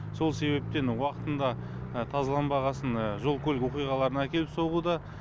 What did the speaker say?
сол себептен уақытында тазаланбағасын жол көлік оқиғаларына әкеліп соғуда